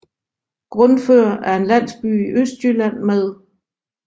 Grundfør er en landsby i Østjylland med